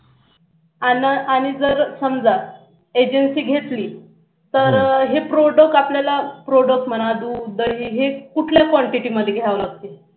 आणि जर समजा agency घेतली तर हे product आपल्याला product म्हणा दूध आपल्याला कुठल्या quantity मध्ये घ्यावे लागतील